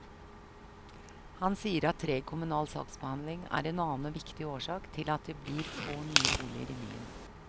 Han sier at treg kommunal saksbehandling er en annen og viktig årsak til at et blir få nye boliger i byen.